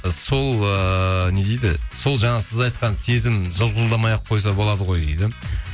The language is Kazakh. сол ыыы не дейді сол жаңағы сіз айтқан сезім жылтылдамай ақ қойса болады ғой дейді